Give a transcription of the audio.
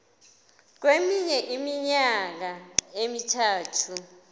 kweminye iminyaka emithathu